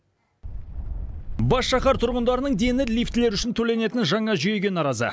бас шаһар тұрғындарының дені лифтілер үшін төленетін жаңа жүйеге наразы